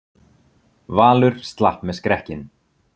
Valur slapp með skrekkinn